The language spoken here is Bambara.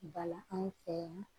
Bala anw fɛ yan